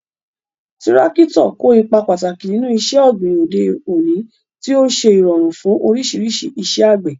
Tírákítọ̀ kó ipa pàtàkì nínú iṣẹ́ ọ̀gbìn òde òní, tí ó ń ṣe ìrọ̀rùn fún oríṣiríṣi iṣẹ́ àgbẹ̀.